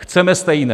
Chceme stejné.